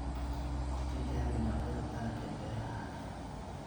Ku tijaabi noocyada dalagga beerahaaga.